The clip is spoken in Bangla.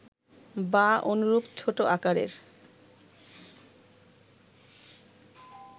বা অনুরূপ ছোট আকারের